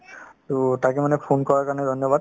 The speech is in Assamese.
to তাকে মানে phone কৰাৰ কাৰণে ধন্যবাদ